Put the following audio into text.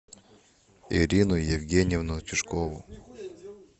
ирину евгеньевну тишкову